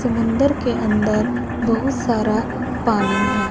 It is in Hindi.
समुद्र के अंदर बहुत सारा पानी है।